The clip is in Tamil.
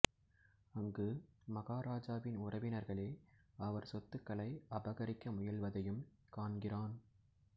அங்கு மகாராஜாவின் உறவினர்களே அவர் சொத்துக்களை அபகரிக்க முயல்வதையும் காண்கிறான்